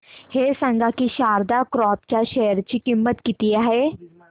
हे सांगा की शारदा क्रॉप च्या शेअर ची किंमत किती आहे